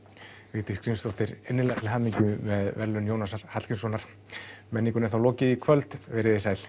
Vigdís Grímsdóttir innilega til hamingju með verðlaun Jónasar Hallgrímssonar menningunni er þá lokið í kvöld verið þið sæl